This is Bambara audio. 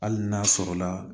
Hali n'a sɔrɔ la